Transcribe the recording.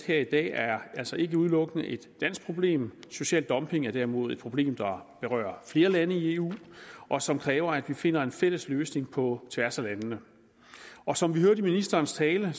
her i dag er altså ikke udelukkende et dansk problem social dumping er derimod et problem der berører flere lande i eu og som kræver at vi finder en fælles løsning på tværs af landene som vi hørte i ministerens tale